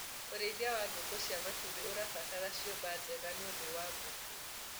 ũrĩithi wa ngũkũ cia matumbi ũrabatara ciũmba njega nĩũndũ wa ngũkũ